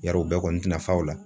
Yar'o o bɛɛ kɔni tina fa o la